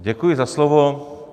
Děkuji za slovo.